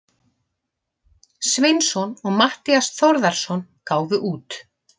Sveinsson og Matthías Þórðarson gáfu út.